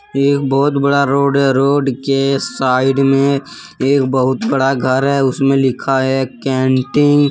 एक बहुत बड़ा रोड है रोड के साइड में एक बहुत बड़ा घर है उसमें लिखा है कैंटीन ।